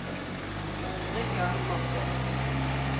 Richard Morken